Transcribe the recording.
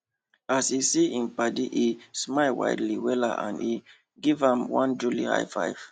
as he see him paddyhim smile wide wella and he give am one jolly high five